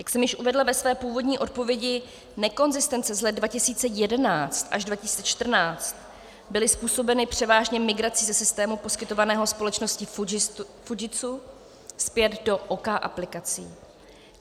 Jak jsem již uvedla ve své původní odpovědi, nekonzistence z let 2011 až 2014 byly způsobeny převážně migrací ze systému poskytovaného společností Fujitsu zpět do OK aplikací.